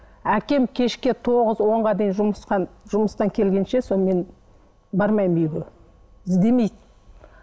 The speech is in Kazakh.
әкем кешке тоғыз онға дейін жұмыстан келгенше сол мен бармаймын үйге іздемейді